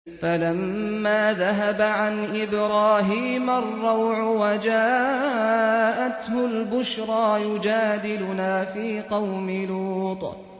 فَلَمَّا ذَهَبَ عَنْ إِبْرَاهِيمَ الرَّوْعُ وَجَاءَتْهُ الْبُشْرَىٰ يُجَادِلُنَا فِي قَوْمِ لُوطٍ